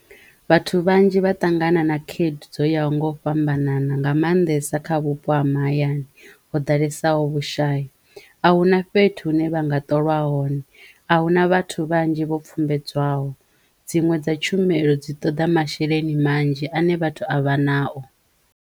Vhathu vhanzhi vha ṱangana na khaedu dzo yaho ngo u fhambanana nga maanḓesa kha vhupo ha mahayani ho ḓalesaho vhushayi a hu na fhethu hune vha nga ṱolwa hone a hu na vhathu vhanzhi vho pfhumbedzwaho dziṅwe dza tshumelo dzi toḓa masheleni manzhi ane vhathu avha nao.